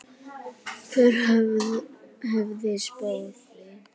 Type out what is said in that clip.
Hver hefði spáð því?